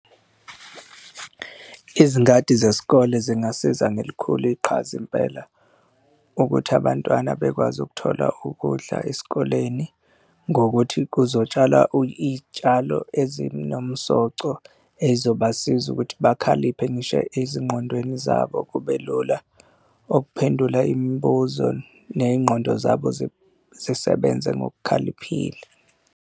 Izingadi zesikole zingasiza, ngelikhulu iqhaza impela, ukuthi abantwana bekwazi ukuthola ukudla esikoleni ngokuthi kuzotshalwa iy'tshalo ezinomsoco ezobasiza ukuthi bekhaliphile ngisho ezingqondweni zabo kube lula ukuphendula imibuzo ney'ngqondo zabo zisebenze ngokukhaliphile.